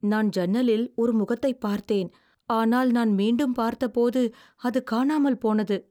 நான் ஜன்னலில் ஒரு முகத்தைப் பார்த்தேன், ஆனால் நான் மீண்டும் பார்த்தபோது அது காணாமல் போனது.